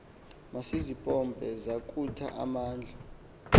masizimpompe zakutha amandla